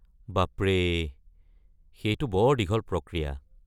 বাপৰে, সেইটো বৰ দীঘল প্ৰক্ৰিয়া।